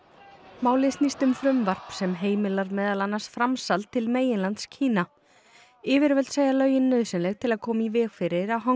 málið snýst um frumvarp sem heimilar meðal annars framsal til meginlands Kína yfirvöld segja lögin nauðsynleg til að koma í veg fyrir að Hong